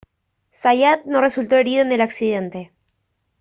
zayat no resultó herido en el accidente